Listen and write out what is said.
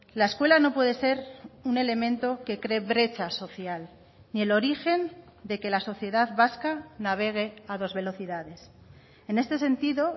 la escuela no puede ser un elemento que cree brecha social ni el origen de que la sociedad vasca navegue a dos velocidades en este sentido